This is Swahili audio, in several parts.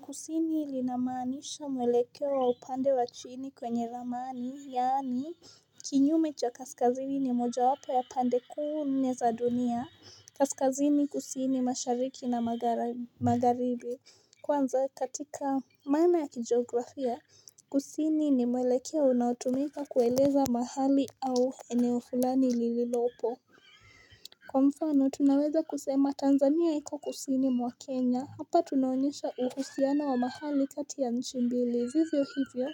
Kusini linamaanisha mwelekeo wa upande wa chini kwenye ramani, yaani, kinyume cha kaskazini ni moja wapo ya pande kuu nne za dunia. Kaskazini kusini mashariki na magharibi. Kwanza katika mana ya kijografia, kusini ni mwelekeo unaotumika kueleza mahali au eneo fulani lililopo. Kwa mfano, tunaweza kusema Tanzania iko kusini mwa Kenya. Hapa tunaonyesha uhusiano wa mahali kati ya nchi mbili. Vivyo hivyo,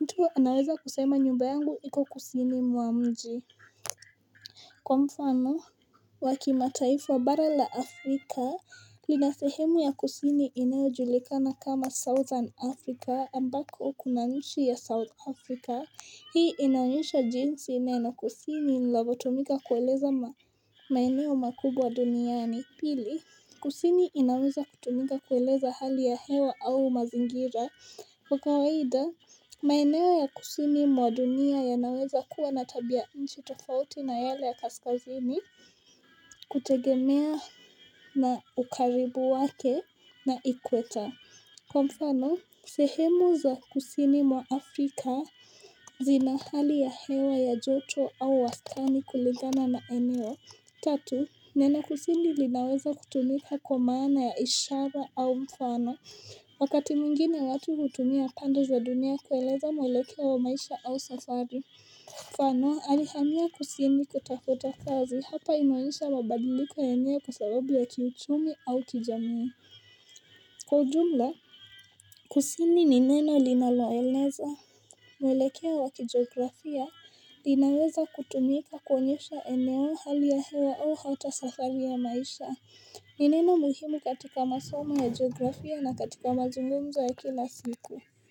mtu anaweza kusema nyumba yangu iko kusini mwa mji. Kwa mfano, wa kimataifa wa bara la Afrika, lina sehemu ya kusini inayojulikana kama Southern Africa ambako kuna nchi ya South Africa. Hii inaonyesha jinsi neno kusini linavyotumika kueleza ma maeneo makubwa duniani pili kusini inaweza kutumika kueleza hali ya hewa au mazingira kwa kawaida maeneo ya kusini mwa dunia yanaweza kuwa na tabia nchi tofauti na yale ya kaskazini kutegemea na ukaribu wake na equator Kwa mfano, sehemu za kusini mwa Afrika zina hali ya hewa ya joto au wastani kulingana na eneo Tatu, neno kusini linaweza kutumika kwa maana ya ishara au mfano, wakati mwingine watu hutumia pande za dunia kueleza mwelekeo wa maisha au safari. Mfano, alihamia kusini kutafuta kazi hapa inaonyesha mabadiliko yenyewe kwa sababu ya kiuchumi au kijamii. Kwa ujumla, kusini ni neno linaloeleza. Mwelekeo wa kijografía, linaweza kutumika konyesha eneo hali ya hewa au hata safari ya maisha. Ni neno muhimu katika masomo ya jiografía na katika mazungumzo ya kila siku.